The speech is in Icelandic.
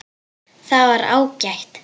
Það var ágætt.